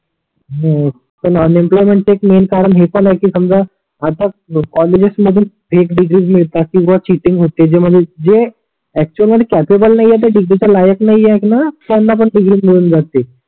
हो पण unemployment एक मैन कारण हे पण आहे की समजा आता कॉलेजस मधून फेक डिग्री मिळतात किवा चिनिंग होते जे म्हणजे जे एक्चुअल मध्ये कॅपेबल नाही आहे डिग्रीच्या लायक नाही आहे णा त्यांना पण डिग्री मिळून जाते.